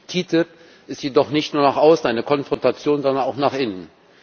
Die TTIP ist jedoch nicht nur nach außen eine Konfrontation, sondern auch nach innen.